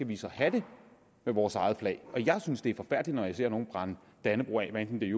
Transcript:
vi skal have det med vores eget flag jeg synes det er forfærdeligt når jeg ser nogle brænde dannebrog af hvad enten det